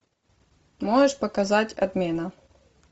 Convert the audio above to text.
можешь показать отмена